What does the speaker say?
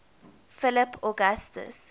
philip augustus